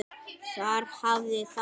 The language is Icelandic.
Þar hafiði það.